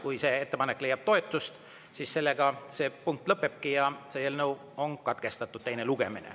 Kui see ettepanek leiab toetust, siis sellega see punkt lõpebki, eelnõu teine lugemine on katkestatud.